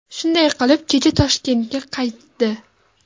Shunday qilib, kecha Toshkentga qaytdi.